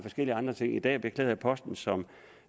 andre ting i dag beklæder jeg posten som